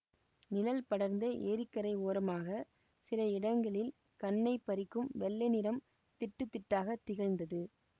நிழல் படர்ந்த ஏரிக்கரை ஓரமாகச் சில இடங்களில் கண்ணைப் பறிக்கும் வெள்ளை நிறம் திட்டுத் திட்டாக திகழ்ந்தது